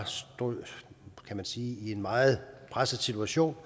stod i en meget presset situation